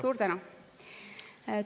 Suur tänu!